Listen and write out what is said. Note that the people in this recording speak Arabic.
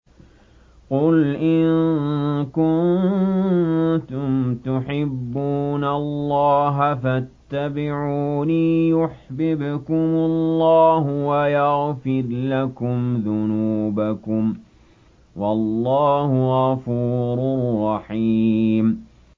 قُلْ إِن كُنتُمْ تُحِبُّونَ اللَّهَ فَاتَّبِعُونِي يُحْبِبْكُمُ اللَّهُ وَيَغْفِرْ لَكُمْ ذُنُوبَكُمْ ۗ وَاللَّهُ غَفُورٌ رَّحِيمٌ